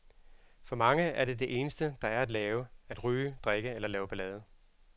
For mange er det eneste, der er at lave, at ryge, drikke eller lave ballade.